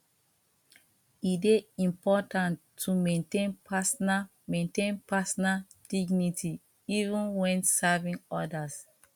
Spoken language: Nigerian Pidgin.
e dey important to maintain personal maintain personal dignity even when serving others